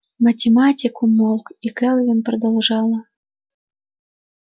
математик умолк и кэлвин продолжала